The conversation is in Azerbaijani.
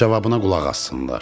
Cavabına qulaq assınlar.